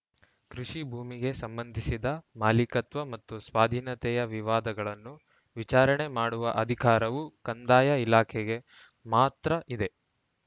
ಕೃಷಿ ಭೂಮಿಗೆ ಸಂಬಂಧಿಸಿದ ಮಾಲಿಕತ್ವ ಮತ್ತು ಸ್ವಾಧೀನತೆಯ ವಿವಾದಗಳನ್ನು ವಿಚಾರಣೆ ಮಾಡುವ ಅಧಿಕಾರವು ಕಂದಾಯ ಇಲಾಖೆಗೆ ಮಾತ್ರ ಇದೆ